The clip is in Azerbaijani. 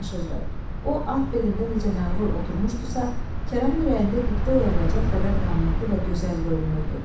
O at belində necə məğrur oturmuşdusa, Kərəmin ürəyində qibtə oyadacaq qədər qamətli və gözəl görünürdü.